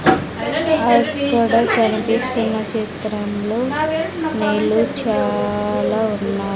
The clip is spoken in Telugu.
అక్కడ కనిపిస్తున్న చిత్రంలో నీళ్ళు చాలా ఉన్నా --